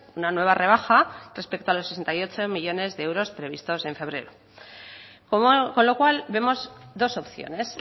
una nueva rebaja respecto a los sesenta y ocho millónes de euros previstos en febrero con lo cual vemos dos opciones